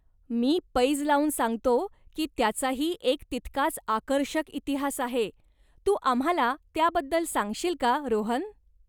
मी पैज लावून सांगतो की त्याचाही एक तितकाच आकर्षक इतिहास आहे, तू आम्हाला त्याबद्दल सांगशील का, रोहन?